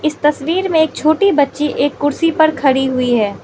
तस्वीर में एक छोटी बच्ची एक कुर्सी पर खड़ी हुई है।